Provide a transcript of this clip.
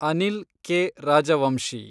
Anil K. Rajvanshi